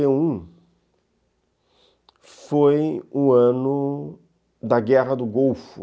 em noventa eu, foi o ano da Guerra do Golfo.